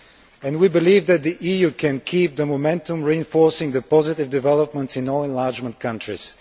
And we believe that the EU can keep up the momentum reinforcing the positive developments in all enlargement countries.